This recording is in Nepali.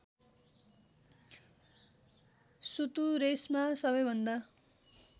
सुतुरेसमा सबैभन्दा